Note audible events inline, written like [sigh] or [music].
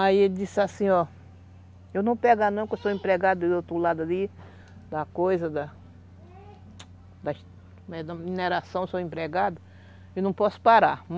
Aí ele disse assim, ó, eu não pego a não, que eu sou empregada do outro lado ali, da coisa, da [unintelligible] como é, da mineração, sou empregada e não posso parar.